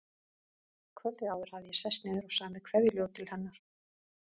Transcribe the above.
Kvöldið áður hafði ég sest niður og samið kveðjuljóð til hennar.